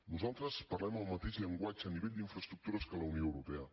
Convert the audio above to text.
nosaltres parlem el mateix llenguatge a nivell d’infraestructures que la unió europea